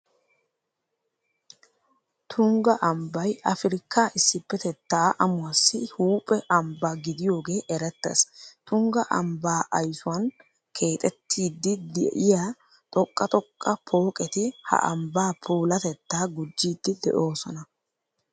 Tungga ambbay afirkkaa issippetettaa amuwassi huuphe ambba gidiyogee erettees. Tungga ambbaa aysuwan keexettiiddi de'iya xoqqa xoqqa pooqeti ha ambbaa puulatettaa gujjiiddi de'oosona.